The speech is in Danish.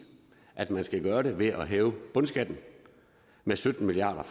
at man skal gøre det ved at hæve bundskatten med sytten milliard